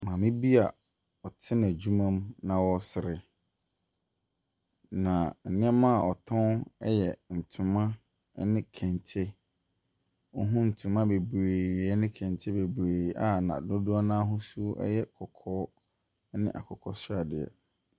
Maame bi a ɔte n'adwuma mu na ɔresere, na nneɛma a ɔtɔn yɛ ntoma ne kente. Wohunu ntoma bebree ne kente bebee a dodoɔ no ara ahosuo yɛ kɔkɔɔ ne akokɔ sradeɛ.